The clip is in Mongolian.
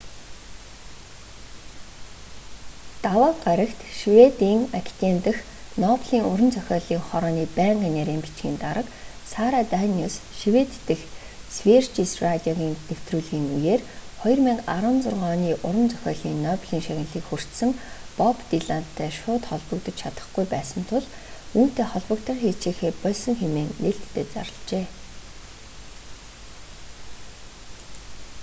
даваа гарагт шведийн академи дахь нобелийн уран зохиолын хорооны байнгын нарийн бичгийн дарга сара даниус швед дэх сверижес радиогийн нэвтрүүлгийн үеэр 2016 оны уран зохиолын нобелийн шагналыг хүртсэн боб дилантай шууд холбогдож чадахгүй байсан тул түүнтэй холбогдохыг хичээхээ больсон хэмээн нээлттэй зарлажээ